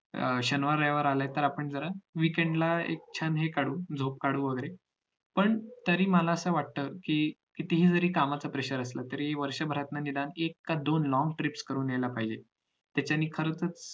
शनिवार रविवार आलाय तर आपन जरा weekend ला छान हे काढू झोप काढू वैगेरे पण तरी मला असं वाटत कि कितीही जरी कामाचा pressur असाल तरी वर्षभरात निदान एक किंवा दोन long trips करून यायला पाहिजेत त्याच्याने खरंच